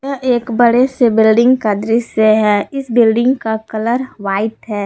यह एक बड़े से बिल्डिंग का दृश्य है इस बिल्डिंग का कलर व्हाइट है।